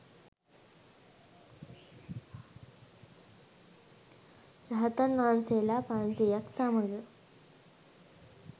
රහතන් වහන්සේලා පන්සියයක් සමග